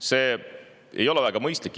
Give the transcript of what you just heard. See ei ole väga mõistlik.